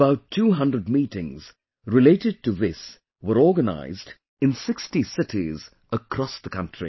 About 200 meetings related to this were organized in 60 cities across the country